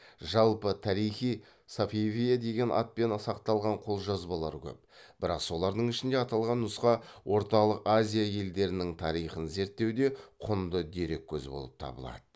жалпы тарих и сафавие деген атпен сақталған қолжазбалар көп бірақ солардың ішінде аталған нұсқа орталық азия елдерінің тарихын зерттеуде құнды дереккөз болып табылады